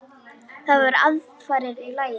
Það voru aðfarir í lagi!